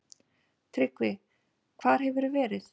TRYGGVI: Hvar hefurðu verið?